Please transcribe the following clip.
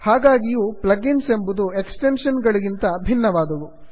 ಹಾಗಾಗಿಯೂ plugins ಎಂಬುವು extension ಗಳಿಗಿಂತ ಭಿನ್ನವಾದವುಗಳು